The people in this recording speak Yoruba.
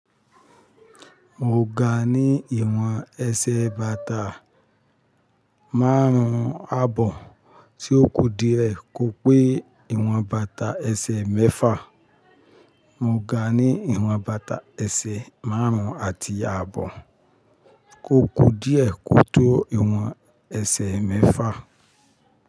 Mo ga ní ìwọ̀n ẹsẹ̀ bàtà márùn-ún àbọ̀ tí ó kú díẹ̀ kó pé ìwọ̀n bàtà ẹsẹ̀ mẹ́fà. Mo ga ní ìwọ̀n bàtà ẹsẹ̀ márùn-ún àti àbọ̀ kó kú díẹ̀ kó tó ìwọ̀n ẹsẹ̀ mẹ́fà.